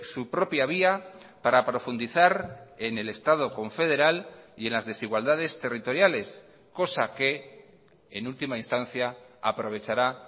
su propia vía para profundizar en el estado confederal y en las desigualdades territoriales cosa que en última instancia aprovechará